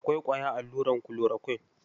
Akwai ƙwayar allurar kulorakwin.